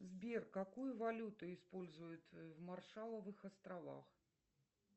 сбер какую валюту используют в маршалловых островах